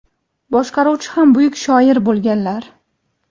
boshqaruvchi ham buyuk shoir bo‘lganlar.